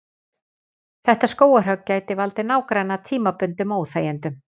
Þetta skógarhögg gæti valdið nágranna tímabundnum óþægindum.